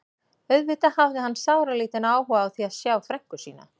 Auðvitað hafði hann sáralítinn áhuga á því að sjá frænku sína.